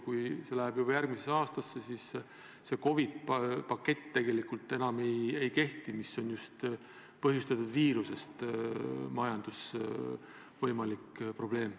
Kui midagi läheb juba järgmisesse aastasse, see COVID-i pakett tegelikult enam ei kehti, kuid võimalik majandusprobleem on põhjustatud just viirusest.